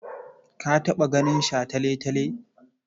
Ka taɓa ganin shataletale?